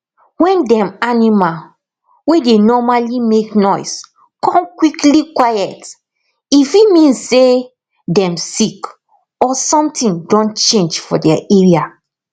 wen dem animal wey dey normally make noise kon quickly quiet e fit mean say dem sick or something don change for their area